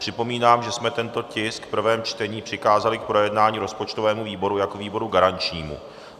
Připomínám, že jsme tento tisk v prvém čtení přikázali k projednání rozpočtovému výboru jako výboru garančnímu.